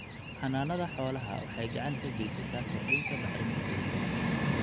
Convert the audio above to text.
Xannaanada xoolaha waxay gacan ka geysataa kordhinta bacrinta ciidda.